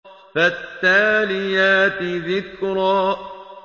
فَالتَّالِيَاتِ ذِكْرًا